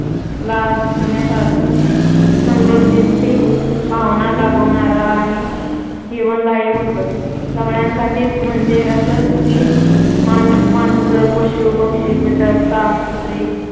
लागण्यासारखं समृद्धीची भावना जागवणारं आणि जीवनदायी होतं सगळ्यांसाठीच म्हणजे असं की माणसं, पशू-पक्षी, कीटक, साप, कुत्री